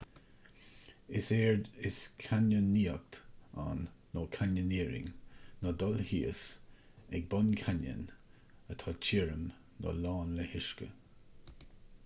is éard is cainneonaíocht ann nó: canyoneering ná dul thíos ag bun cainneoin atá tirim nó lán le huisce